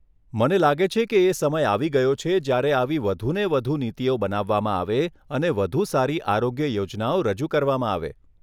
મને લાગે છે કે એ સમય આવી ગયો છે જ્યારે આવી વધુ ને વધુ નીતિઓ બનાવવામાં આવે અને વધુ સારી આરોગ્ય યોજનાઓ રજૂ કરવામાં આવે .